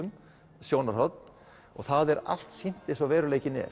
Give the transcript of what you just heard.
sjónarhorn það er allt sýnt eins og veruleikinn er